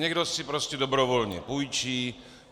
Někdo si prostě dobrovolně půjčí.